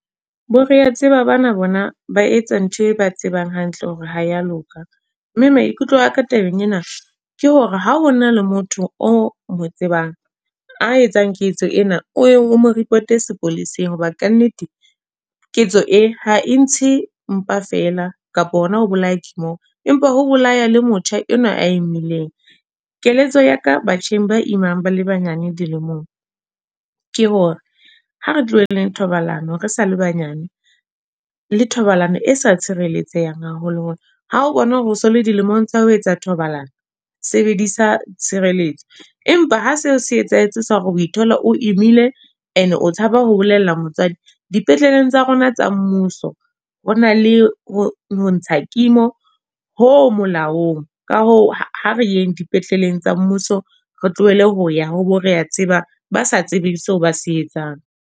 Bo re a tseba bana bona ba etsa ntho e ba tsebang hantle hore ha ya loka. Mme maikutlo aka tabeng ena, ke hore ha o na le motho o mo tsebang a etsang ketso ena o mo report-e sepoleseng. Hoba ka nnete, ketso e ha e ntse mpa fela kapa hona ho bolaya kimo. Empa ho bolaya le motjha enwa a e nweleng. Keletso ya ka batjheng ba imang ba le banyane dilemong. Ke hore ha re tlohelleng thobalano re sa le banyane, le thobalano e sa tshireletsehang haholo holo. Ha o bona hore o sole dilemong tsa ho etsa thobalano. Sebedisa tshireletso. Empa ha se o se etsahetse sa hore o thola o imile e ne o tshaba ho bolella motswadi. Dipetleleng tsa rona tsa mmuso, ho na le ho ho ntsha kimo ho molaong. Ka hoo, ha re yeng dipetleleng tsa mmuso, re tlohele ho ya ho bo re a tseba. Ba sa tsebe seo ba se etsang.